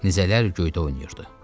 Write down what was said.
Nizələr göydə oynayırdı.